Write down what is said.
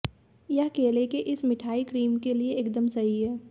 यह केले के इस मिठाई क्रीम के लिए एकदम सही है